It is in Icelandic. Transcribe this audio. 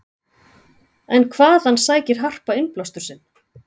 En hvaðan sækir Harpa innblástur sinn?